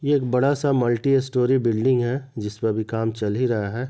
एक बड़ा सा मल्टी स्टोरी बिल्डिंग है जिसपे अभी काम चल ही रहा है।